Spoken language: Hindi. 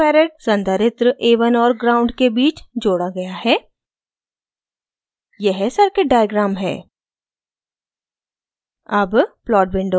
1uf one micro farad संधारित्र a1 और ground gnd के बीच जोड़ा गया है